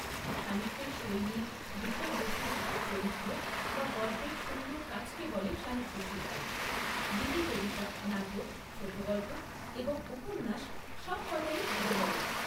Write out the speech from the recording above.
সাহিত্যের শৈলী, বিষয়বস্তু, চরিত্র বা গল্পের সুন্দর কাজকে বলে সাহিত্য শিল্প। গীতিকবিতা, নাটক, ছোট গল্প এবং উপন্যাস সবকটা এর উদাহরণ।